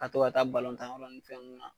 Ka to ka taa ni fɛn ninnu na.